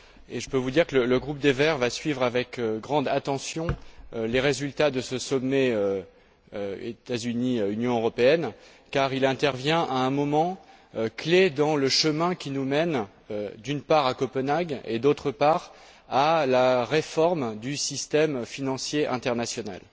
Je peux vous dire que le groupe des Verts va suivre avec grande attention les résultats de ce sommet États Unis Union européenne, car il intervient à un moment clé dans le chemin qui nous mène, d'une part, à Copenhague, et, d'autre part, à la réforme du système financier international.